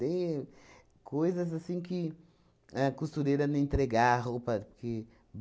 Deu. Coisas assim que a costureira não entregar roupa que